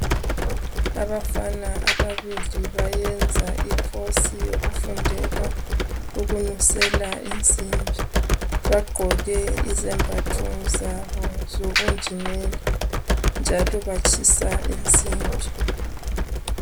Abafana ababili bayenza icourse yokufundela ukunusela insimbi. Bagqoke izembatho zabo zobunjinela, njalo batshisa insimbi.